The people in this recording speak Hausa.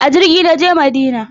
A jirgi na je Madina.